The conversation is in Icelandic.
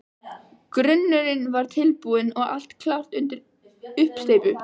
Grunnurinn var tilbúinn og allt klárt undir uppsteypu.